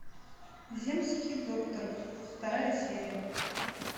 земский доктор вторая серия